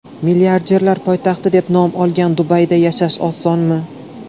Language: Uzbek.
Milliarderlar poytaxti deb nom olgan Dubayda yashash osonmi?